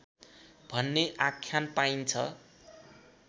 भन्ने आख्यान पाइन्छ